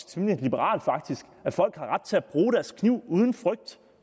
temmelig liberalt faktisk at folk har ret til at bruge deres kniv uden frygt